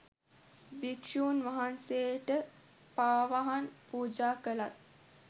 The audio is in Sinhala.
භික්ෂූන් වහන්සේට පාවහන් පූජාකළත්